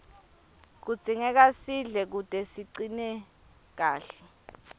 kudzingeka sidle kute sicine kahle